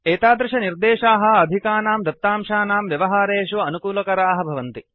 एतादृशनिर्देशाः अधिकानां दत्तांशानां व्यवहारेषु अनुकूलकराः भवन्ति